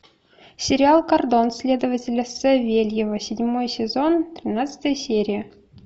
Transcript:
сериал кордон следователя савельева седьмой сезон тринадцатая серия